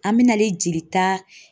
An bɛ nalen jelita